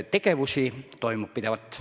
Tegutseme pidevalt.